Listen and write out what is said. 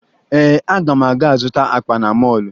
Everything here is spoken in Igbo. Ee, aga m aga zụta akpa na mọọlụ